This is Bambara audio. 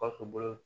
Gawusu bolo